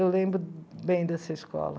Eu lembro bem dessa escola.